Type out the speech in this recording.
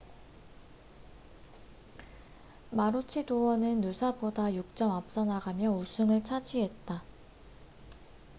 마루치도어는 누사보다 6점 앞서나가며 우승을 차지했다